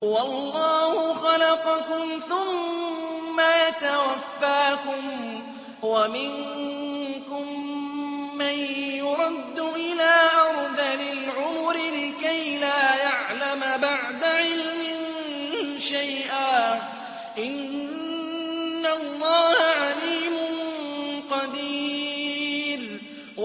وَاللَّهُ خَلَقَكُمْ ثُمَّ يَتَوَفَّاكُمْ ۚ وَمِنكُم مَّن يُرَدُّ إِلَىٰ أَرْذَلِ الْعُمُرِ لِكَيْ لَا يَعْلَمَ بَعْدَ عِلْمٍ شَيْئًا ۚ إِنَّ اللَّهَ عَلِيمٌ قَدِيرٌ